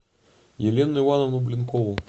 елену ивановну блинкову